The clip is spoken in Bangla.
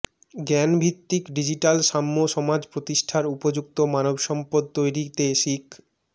জ্ঞানভিত্তিক ডিজিটাল সাম্য সমাজ প্রতিষ্ঠার উপযুক্ত মানবসম্পদ তৈরিতে শিক